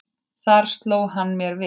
Þar sló hann mér við.